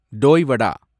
டோய் வடா